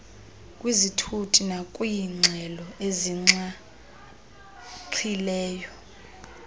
kwizithuthi nakwiingxelo ezinxaxhileyo